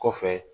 Kɔfɛ